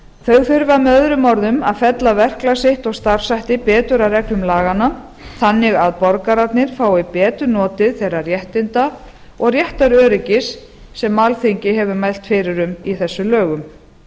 þau þurfa með öðrum orðum að fella verklag sitt og starfshætti betur að reglum laganna þannig að borgararnir fái betur notið þeirra réttinda og réttaröryggis sem alþingi hefur mælt fyrir um í þessum lögum